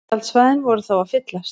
Tjaldsvæðin voru þá að fyllast